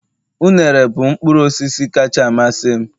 unere bụ mkpụrụ osisi kacha amasị m